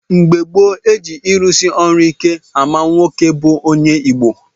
Mgbe gboo, e ji ịrụsị ọrụ ike ama nwoke bụ onye Igbo.